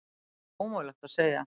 Það er ómögulegt að segja.